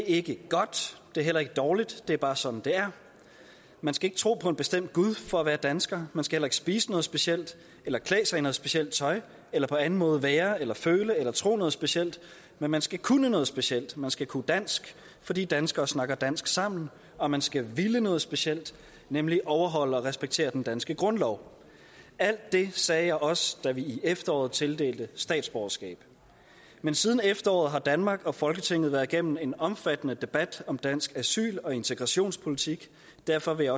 ikke godt det er heller ikke dårligt det er bare sådan det er man skal ikke tro på en bestemt gud for at være dansker man skal heller ikke spise noget specielt eller klæde sig i noget specielt tøj eller på anden måde være eller føle eller tro noget specielt men man skal kunne noget specielt man skal kunne dansk fordi danskere snakker dansk sammen og man skal ville noget specielt nemlig overholde og respektere den danske grundlov alt det sagde jeg også da vi i efteråret tildelte statsborgerskab men siden efteråret har danmark og folketinget været igennem en omfattende debat om dansk asyl og integrationspolitik og derfor vil